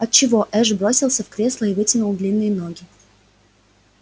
от чего эш бросился в кресло и вытянул длинные ноги